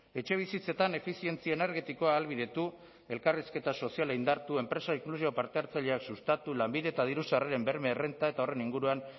etxebizitzetan efizientzia energetikoa ahalbidetu elkarrizketa soziala indartu enpresa inklusibo parte hartzaileak sustatu lanbide eta diru sarreren berme errenta eta horren inguruan